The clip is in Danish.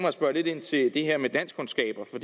at spørge lidt ind til det her med danskkundskaber for